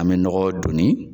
An bɛ nɔgɔ donni